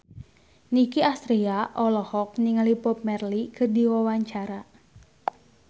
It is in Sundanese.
Nicky Astria olohok ningali Bob Marley keur diwawancara